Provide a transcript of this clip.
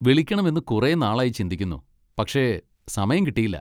വിളിക്കണമെന്ന് കുറെ നാൾ ആയി ചിന്തിക്കുന്നു, പക്ഷെ സമയം കിട്ടിയില്ല.